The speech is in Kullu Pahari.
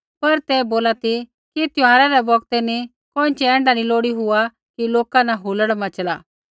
पर ते बोला ती कि त्यौहार रै बौगतै नी कोइँछ़ै ऐण्ढा नी लोड़ी हुआ कि लोका न हुलड़ मच़ला